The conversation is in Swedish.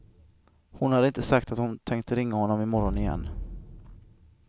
Hon hade inte sagt att hon tänkte ringa honom imorgon igen.